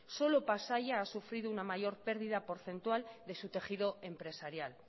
solo pasaia ha sufrido una mayor pérdida porcentual de su tejido empresarial